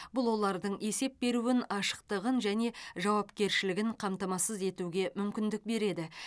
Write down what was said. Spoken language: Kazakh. бұл олардың есеп беруін ашықтығын және жауапкершілігін қамтамасыз етуге мүмкіндік береді